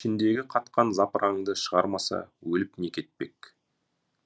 ішіндегі қатқан запыраңды шығармаса өліп не кетпек